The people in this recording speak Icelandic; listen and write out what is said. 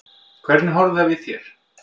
Hvernig horfði það við þér?